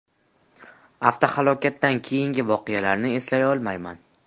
Avtohalokatdan keyingi voqealarni eslay olmayman.